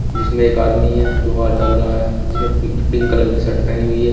जिसमें एक आदमी है जो हाथ डाल रहा है जिसने पि पिंक कलर की शर्ट पहनी हुई है।